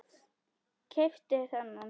Keypti þennan.